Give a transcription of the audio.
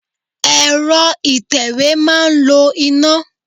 Ẹ̀rọ ìtẹ̀wé máa ń lo iná.